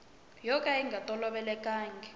yo ka yi nga tolovelekangiki